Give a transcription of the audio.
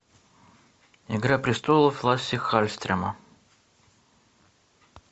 игра престолоа лассе халльстрема